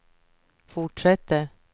fortsätter